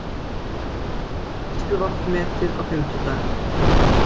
Neysluvatn metið á fimmtudag